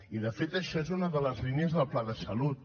i de fet això és una de les línies del pla de salut